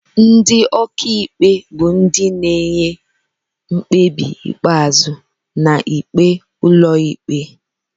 Ndị ọkaikpe bụ ndị na-enye mkpebi ikpeazụ na ikpe ụlọikpe.